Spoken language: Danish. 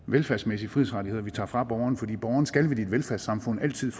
velfærdsmæssige frihedsrettigheder vi tager fra borgeren for borgeren skal vel i et velfærdssamfund altid